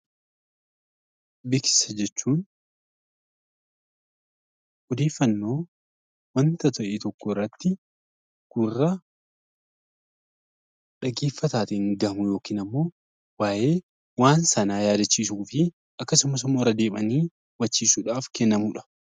Beeksisa jechuun odeeffannoo waanta tokko irratti, gurra dhaggeeffataatiin dhaggeeffatamu yookaan immoo waa'ee waan sanaa yaadachiisuu fi akkasumas immoo hubachiisuudhaaf kennamudha.